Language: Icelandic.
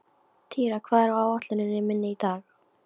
Týra, hvað er á áætluninni minni í dag?